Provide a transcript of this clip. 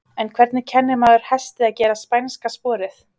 En hvernig kennir maður hesti að gera spænska sporið?